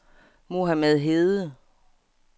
Mohamed Hede